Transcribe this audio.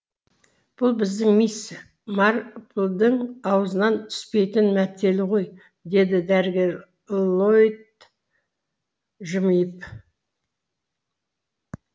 бұл біздің мисс марплдың аузынан түспейтін мәтелі ғой деді дәрігер ллойд жымиып